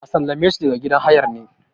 a sallame su daga gidan hayar ne?